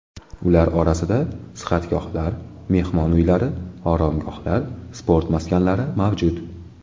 Ular orasida sihatgohlar, mehmon uylari, oromgohlar, sport maskanlari mavjud.